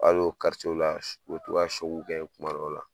Hali o la , u bi tɔ ka kɛ kuma dɔw la.